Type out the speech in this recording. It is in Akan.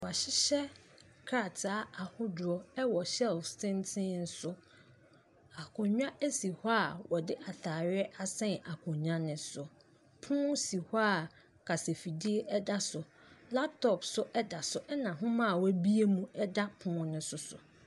Wɔahyehyɛ krataa ahodoɔ wɔ shelves tenten so. Akonnwa si kɔ a wɔde atadeɛ asɛn akonnwa no so. Pono hɔ a kasafidie da so. Laptop nso da so, ɛna nwima a wɔabue mu da pono no nso so.